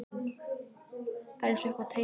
Það er einsog eitthvað teymi hann.